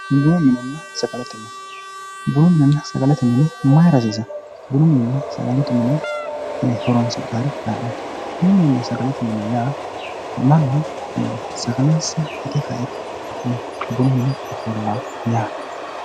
Bununna sagalete mine, bununna sagalete mini mayra hasiisano, bununna sagalete mini horonsi'nanni yinnanni woyte bununna sagalete mine mannu sagale itte kairo buna horonsirano yaate.